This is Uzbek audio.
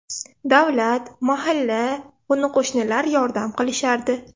Davlat, mahalla, qo‘ni-qo‘shnilar yordam qilishardi.